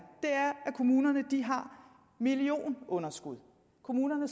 kommunerne har millionunderskud kommunerne